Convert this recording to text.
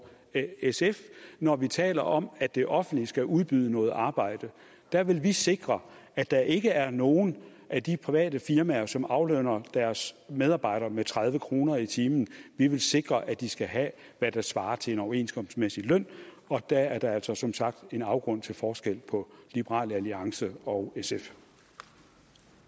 sf når vi taler om at det offentlige skal udbyde noget arbejde der vil vi sikre at der ikke er nogen af de private firmaer som aflønner deres medarbejdere med tredive kroner i timen vi vil sikre at de skal have hvad der svarer til en overenskomstmæssig løn og der er altså som sagt en afgrund til forskel på liberal alliance og